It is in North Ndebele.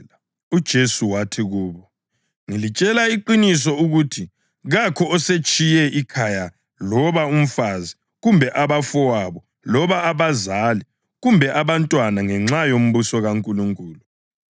UJesu wathi kubo, “Ngilitshela iqiniso ukuthi kakho osetshiye ikhaya loba umfazi kumbe abafowabo loba abazali kumbe abantwana ngenxa yombuso kaNkulunkulu